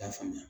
I y'a faamuya